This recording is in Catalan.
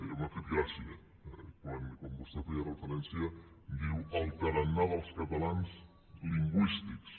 i m’ha fet gràcia quan vostè feia referència diu el tarannà dels catalans lingüístics